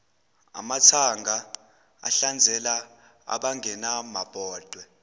amathanga ahlanzela abangenamabhodwe